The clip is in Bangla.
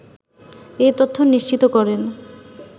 এ তথ্য নিশ্চিত করেন